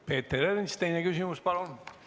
Peeter Ernits, teine küsimus, palun!